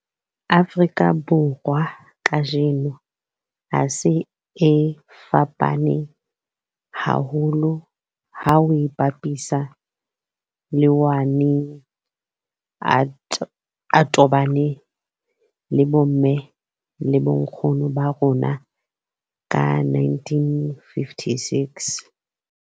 Afrika Borwa kajeno a se a fapane haholo ha o a bapisa le ao a neng a tobane le bomme le bonkgono ba rona ka 1956.